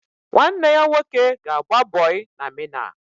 Nwanne ya nwoke ga-agba bọị na Mịna